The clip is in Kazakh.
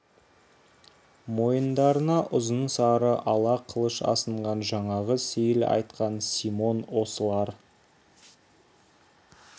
мойындарына ұзын сары ала қылыш асынған жаңағы сейіл айтқан симон осылар